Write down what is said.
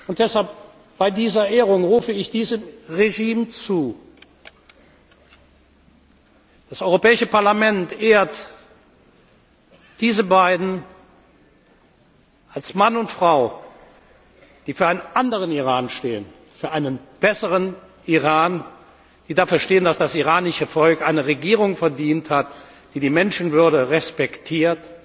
Und deshalb rufe ich bei dieser Ehrung diesem Regime zu Das Europäische Parlament ehrt diese beiden als einen Mann und eine Frau, die für einen anderen Iran stehen, für einen besseren Iran, die dafür stehen, dass das iranische Volk eine Regierung verdient hat, die die Menschenwürde respektiert,